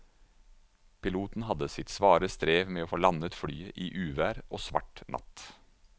Piloten hadde sitt svare strev med å få landet flyet i uvær og svart natt.